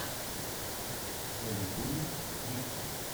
на ютюбе диксон